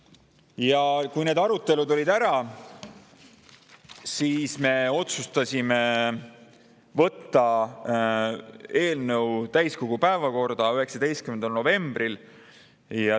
Ja kui arutelu olid, siis otsustasime võtta eelnõu täiskogu päevakorda 19. novembril.